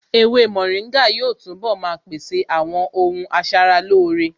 Ewé mòríngà yóò túnbọ̀ maa pèsè àwọn ohun asaralóore